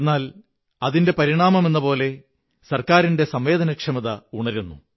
എന്നാൽ അതിന്റെ പരിണാമമെന്ന പോലെ ഗവണ്മെുന്റിന്റെ സംവേദനക്ഷമതയുണരുന്നു